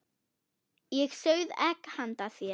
Ég sauð egg handa þér.